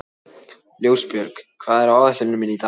Ljósbjörg, hvað er á áætluninni minni í dag?